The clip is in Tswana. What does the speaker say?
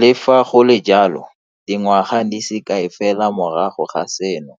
Le fa go le jalo, dingwaga di se kae fela morago ga seno,